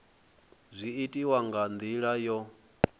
zwi itiwa nga ndila yo